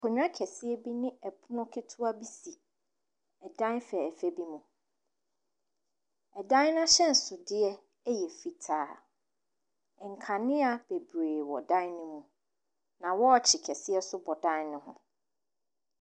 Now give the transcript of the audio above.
Akonya kɛseɛ ɛne ɛpono ketewa bi si ɛdan fɛfɛɛ mu. Ɛdan n'ahyɛnso deɛ ɛyɛ fitaa. Nkanea bebree wɔ dan ne mu na wɔkye kɛseɛ bi nso bɔ dan ne ho.